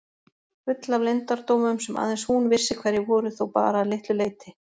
Full af leyndardómum sem aðeins hún vissi hverjir voru þó bara að litlu leyti.